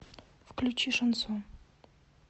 включи шансон